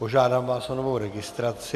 Požádám vás o novou registraci.